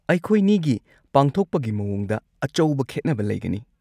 ꯑꯩꯈꯣꯏꯅꯤꯒꯤ ꯄꯥꯡꯊꯣꯛꯄꯒꯤ ꯃꯑꯣꯡꯗ ꯑꯆꯧꯕ ꯈꯦꯠꯅꯕ ꯂꯩꯒꯅꯤ꯫